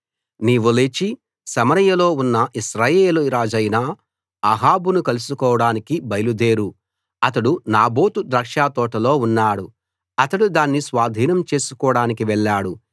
నీవు లేచి సమరయలో ఉన్న ఇశ్రాయేలు రాజైన అహాబును కలుసుకోడానికి బయలు దేరు అతడు నాబోతు ద్రాక్షతోటలో ఉన్నాడు అతడు దాన్ని స్వాధీనం చేసుకోడానికి వెళ్ళాడు